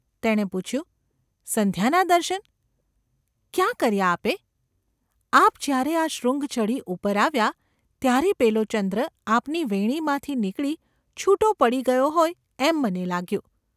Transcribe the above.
તેણે પૂછ્યું : ‘સંધ્યાનાં દર્શન ? ક્યાં કર્યાં આપે ?’ આપ જ્યારે આ શૃંગ ચઢી ઉપર આવ્યાં ત્યારે પેલો ચંદ્ર આપની વેણીમાંથી નીકળી છૂટો પડી ગયો હોય એમ મને લાગ્યું.